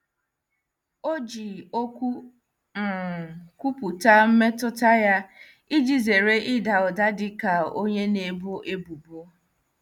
O ji okwu "M" kwupụta mmetụta ya iji zere ịda ụda dị ka onye na-ebo ebubo.